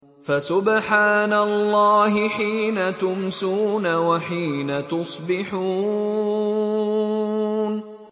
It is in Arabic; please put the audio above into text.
فَسُبْحَانَ اللَّهِ حِينَ تُمْسُونَ وَحِينَ تُصْبِحُونَ